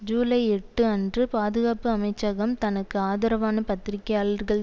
ஜூலை எட்டு அன்று பாதுகாப்பு அமைச்சகம் தனக்கு ஆதரவான பத்திரிகையாளர்கள்